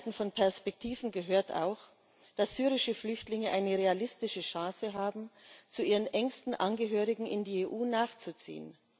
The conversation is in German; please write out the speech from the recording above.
Zum Offenhalten von Perspektiven gehört auch, dass syrische Flüchtlinge eine realistische Chance haben, zu ihren engsten Angehörigen in die EU nachzuziehen.